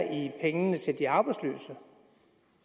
i pengene til de arbejdsløse